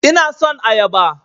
Ina son ayaba